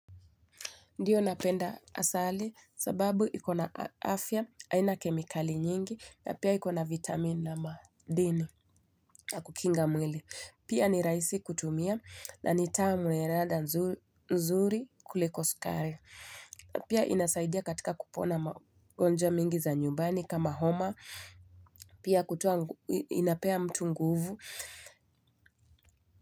Ndiyo napenda asali sababu iko na afya, aina kemikali nyingi, na pia iko na vitamin na madini na kukinga mwili. Pia ni rahisi kutumia na ni tamu yana ladha nzuri kuliko skari. Pia inasaidia katika kupona magonjwa mingi za nyumbani kama homa. Pia kutoa inapea mtu nguvu.